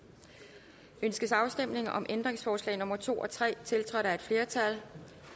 ønskes afstemning om ændringsforslag nummer to og tre tiltrådt af et flertal